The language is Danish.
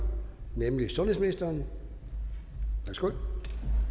nemlig sundhedsministeren værsgo